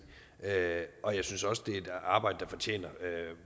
og jeg synes også det er et arbejde der fortjener